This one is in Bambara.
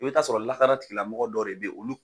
O bɛ t'a sɔrɔ lakana tigilamɔgɔ dɔ de bɛ yen olu